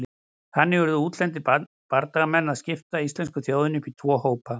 Þannig urðu útlendir bardagamenn til að skipta íslensku þjóðinni upp í tvo hópa.